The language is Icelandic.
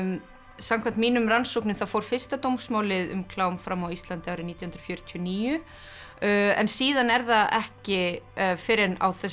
samkvæmt mínum rannsóknum þá fór fyrsta dómsmálið um klám fram á Íslandi árið nítján hundruð fjörutíu og níu en síðan er það ekki fyrr en á þessum